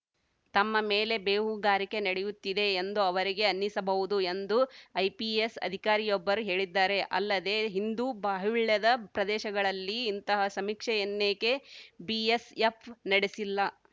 ತಮ್ಮ ಮೇಲೆ ಬೇಹುಗಾರಿಕೆ ನಡೆಯುತ್ತಿದೆ ಎಂದು ಅವರಿಗೆ ಅನ್ನಿಸಬಹುದು ಎಂದು ಐಪಿಎಸ್‌ ಅಧಿಕಾರಿಯೊಬ್ಬರು ಹೇಳಿದ್ದಾರೆ ಅಲ್ಲದೆ ಹಿಂದು ಬಾಹುಳ್ಯದ ಪ್ರದೇಶಗಳಲ್ಲಿ ಇಂತಹ ಸಮೀಕ್ಷೆಯನ್ನೇಕೆ ಬಿಎಸ್‌ಎಫ್‌ ನಡೆಸಿಲ್ಲ